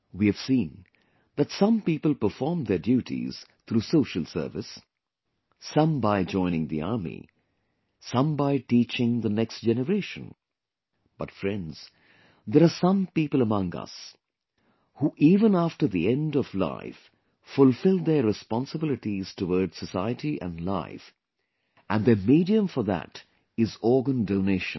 We have seen that some people perform their duties through social service, some by joining the army, some by teaching the next generation, but friends, there are some people among us who even after the end of life, fulfill their responsibilities towards society and life and their medium for that is organ donation